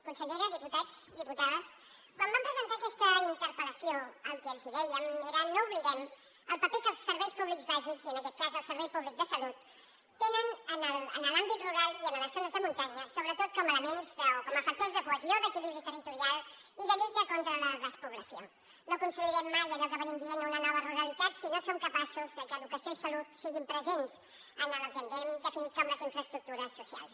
consellera diputats diputades quan vam presentar aquesta interpel·lació el que els dèiem era no oblidem el paper que els serveis públics bàsics i en aquest cas el servei públic de salut tenen en l’àmbit rural i en les zones de muntanya sobretot com a elements o com a factors de cohesió d’equilibri territorial i de lluita contra la despoblació no construirem mai allò que en venim dient una nova ruralitat si no som capaços de que educació i salut siguin presents en el que hem definit com les infraestructures socials